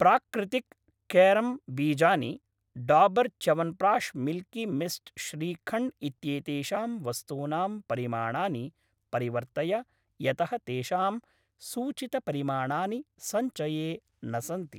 प्राक्रितिक् कारम् बीजानि, Dabur chyawanprash Milky Mist shrikhand इत्येतेषां वस्तूनां परिमाणानि परिवर्तय यतः तेषां सूचितपरिमाणानि सञ्चये न सन्ति।